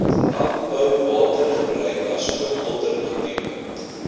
landbouwatergebruik asook alternatiewe